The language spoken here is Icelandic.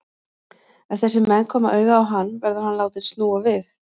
Ef þessir menn koma auga á hann, verður hann látinn snúa við.